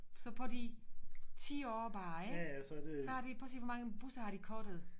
Så på de 10 år bare ikke så har de prøv at se hvor mange busser har de cuttet